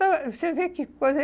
Para Você vê que coisa.